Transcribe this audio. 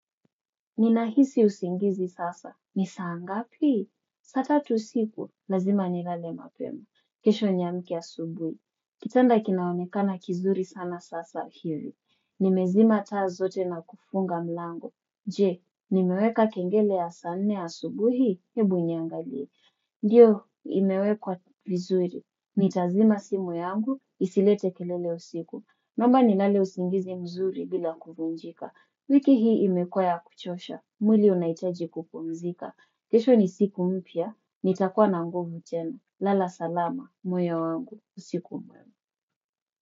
Nina hisi usingizi sasa. Ni saa ngapi? Sasa tu usiku, lazima nilale mapema. Kesho niamke asubuhi. Kitanda kinaonekana kizuri sana sasa hivi. Nimezima taa zote na kufunga mlango. Je, nimeweka kengele ya saa nne ya subuhi. Hebu niangalie. Ndiyo imewekwa vizuri, nitazima simu yangu, isilete kelele usiku. Naomba nilale usingizi mzuri bila kuvunjika. Wiki hii imekuwa kuchosha, mwili unahitaji kupumzika kesho ni siku mpya, nitakuwa na nguvu tena. Lala salama, moyo wangu, usiku mwema.